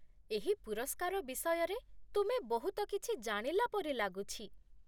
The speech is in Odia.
ଏହି ପୁରସ୍କାର ବିଷୟରେ ତୁମେ ବହୁତ କିଛି ଜାଣିଲା ପରି ଲାଗୁଛି।